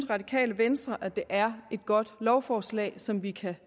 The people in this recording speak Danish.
radikale venstre at det er et godt lovforslag som vi kan